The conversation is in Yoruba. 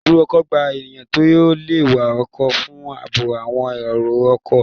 Ibùdó ọkọ̀ gba ènìyàn tó le wa ọkọ̀ fún àbò àwọn èrò ọkọ̀